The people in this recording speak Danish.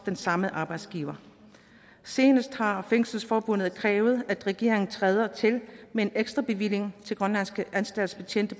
samme arbejdsgiver senest har fængselsforbundet krævet at regeringen træder til med en ekstrabevilling på til grønlandske anstaltsbetjente